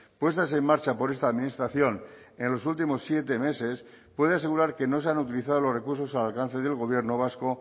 puestas en marcha por esta administración en los últimos siete meses puede asegurar que no se han utilizado los recursos al alcance del gobierno vasco